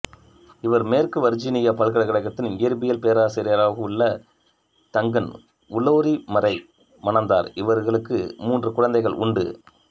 இவர் மேற்கு வர்ஜீனியா பல்கலைக்கழகத்தின் இயற்பியல் பேராசிரியராகவுள்ள தங்கன் உலோரிமரை மணந்தார் இவர்களுக்கு மூன்று குழந்தைகள் உண்டு